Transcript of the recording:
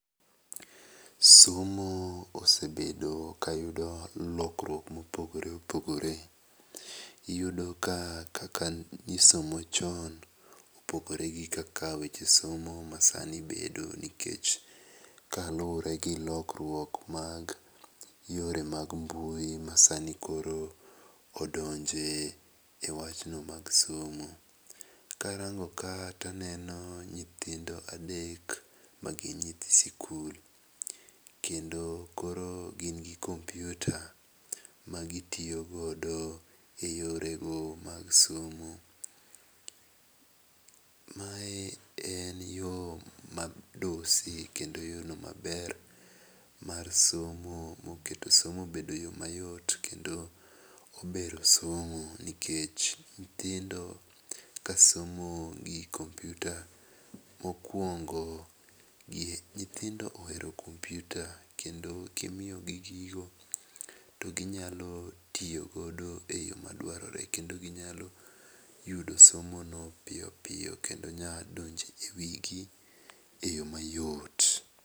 Somo osebedo ka yudo lokruok ma opogore opogore, iyudo ka kaka ne isomo chon opogore gi kaka weche somo masani bedo nikech kaluwore gi lokruok mag yore mag mbui masani koro odonjo e wachno mag somo. Karango ka to aneno nyithindo adek ma gin nyithi sikul kendo gin gi kompiuta magitiyo go eyore go mag somo. Mae en yo modusi kendo yorno maber mar somo moketo somo obed yo mayot kendo obero somo nikech nyithindo kasomo gi kompiuta mokuongo nyithindo ohero kompiuta kendo ka imiyo gi gigo to ginyalo tiyo godo e yo ma dwarore kendo ginyalo yudo somono piyo piyo kendo nyalo donjo ewigi eyo mayot.